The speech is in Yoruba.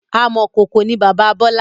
Amọ̀kọkò ni bàbá Bọlá